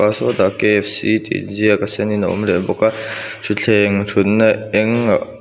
sawtah tih in ziak a sen in a awm leh bawk a thuthleng thutna engah.